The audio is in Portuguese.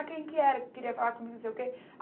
Ah, quem que era que queria falar comigo, não sei o quê?